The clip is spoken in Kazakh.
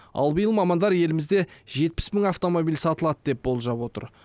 ал биыл мамандар елімізде жетпіс мың автомобиль сатылады деп болжап отыр